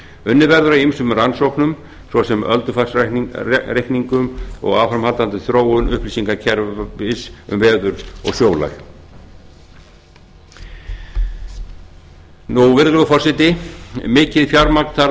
unnið verður að ýmsum rannsóknum svo sem öldufarsreikningum og áframhaldandi þróun upplýsingakerfis um veður og sjólag virðulegur forseti mikið fjármagn þarf